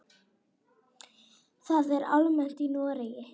Það er almennt í Noregi.